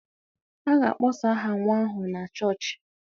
A ga-akpọsa aha nwa ahụ na chọọchị